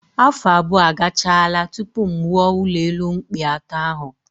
Afọ abụọ agachaala tupu m wuo ụlọelu mkpị atọ ahụ